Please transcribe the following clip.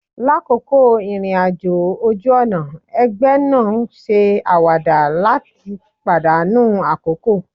Lakoko irin-ajo oju-ọna, ẹgbẹ naa n se awada lat padanu akoko